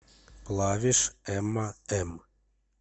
плавишь эмма м